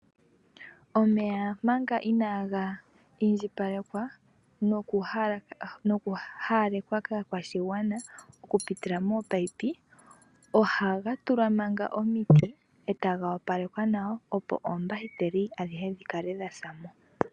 Omeya manga inaaga indjipalekwa noku haalakanithwa kaakwashigwana oku pitila moopayipi, ohaga tulwa manga omiti eta gawapalekwa nawa opo oombahiteli adhihe dhikale dha za mo.